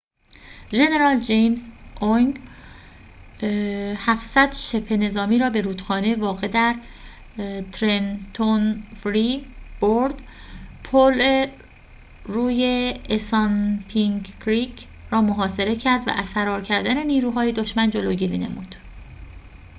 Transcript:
ژنرال جیمز اوینگ ۷۰۰ شبه‌نظامی را به رودخانه واقع در ترنتون فری برد پل روی اسانپینک کریک را محاصره کرد و از فرار کردن نیروهای دشمن جلوگیری نمود